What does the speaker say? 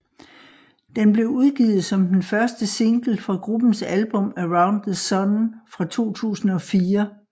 Den blev udgivet som den første single fra gruppens album Around the Sun fra 2004